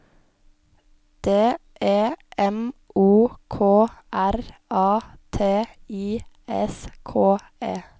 D E M O K R A T I S K E